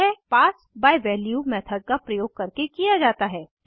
यह pass by value method का प्रयोग करके किया जाता है